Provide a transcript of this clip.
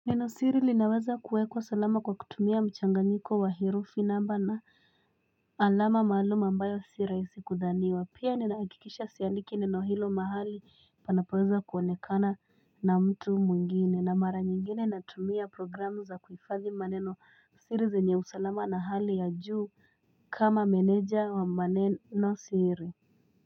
Meno siri linawaza kuwekwa salama kwa kutumia mchanganyiko wa herufi namba na alama maalum ambayo siraisi kudhaniwa pia. Nenakikisha siandiki neno hilo mahali panapoweza kwonekana na mtu mwingine na mara nyingine natumia programu za kuhifadhi maneno siri zenye usalama na hali ya juu kama meneja wa maneno siri.